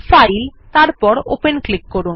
file তারপর open click করুন